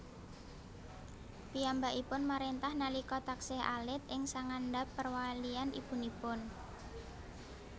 Piyambakipun maréntah nalika taksih alit ing sangandhap perwalian ibunipun